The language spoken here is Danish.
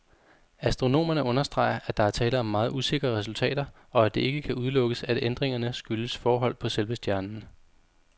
Astronomerne understreger, at der er tale om meget usikre resultater, og at det ikke kan udelukkes, at ændringerne skyldes forhold på selve stjernen.